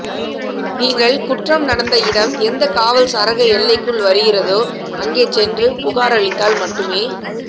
நீங்கள் குற்றம் நடந்த இடம் எந்த காவல் சரக எல்லைக்குள் வருகிறதோ அங்கே சென்று புகார் அளித்தால் மட்டுமே